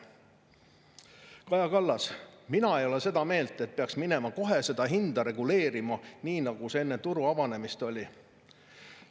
" Kaja Kallas: "Mina ei ole seda meelt, et peaks minema kohe seda hinda reguleerima nii nagu see enne turu avanemist oli.